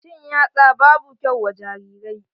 Cin yatsa babu kyau wa jarirai.